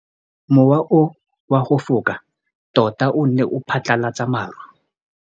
Mowa o wa go foka tota o ne wa phatlalatsa maru.